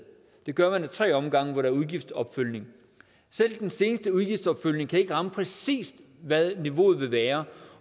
det gør man ad tre omgange hvor der er udgiftsopfølgning selv den seneste udgiftsopfølgning kan ikke ramme præcist hvad niveauet vil være